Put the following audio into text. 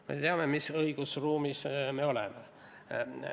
Me teame, mis õigusruumis me oleme.